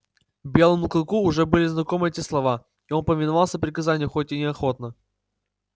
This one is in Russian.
белому клыку уже были знакомы эти слова и он повиновался приказанию хоть и неохотно